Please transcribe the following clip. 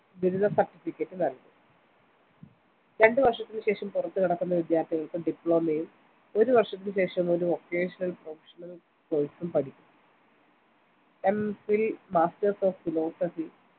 ബിരുദം certificate നൽകും രണ്ട് വർഷത്തിന് ശേഷം പുറത്തുകടക്കുന്ന വിദ്യാർത്ഥികൾക്ക് diploma ഒരു വർഷത്തിന് ശേഷം ഒരു vocational professional course ഉം M phil masters of philosophy